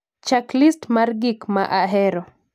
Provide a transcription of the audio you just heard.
chak list mar gik ma ahero